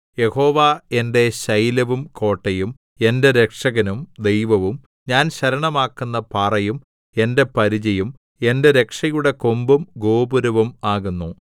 യഹോവ എന്റെ ശൈലവും കോട്ടയും എന്റെ രക്ഷകനും ദൈവവും ഞാൻ ശരണമാക്കുന്ന പാറയും എന്റെ പരിചയും എന്റെ രക്ഷയുടെ കൊമ്പും ഗോപുരവും ആകുന്നു